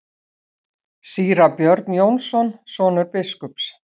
Síra Björn Jónsson, sonur biskups.